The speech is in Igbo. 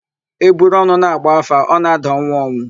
E buru ọnụ na-agba áfá, ọ na-ada ọnwụ ọnwụ.